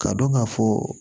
K'a dɔn ka fɔ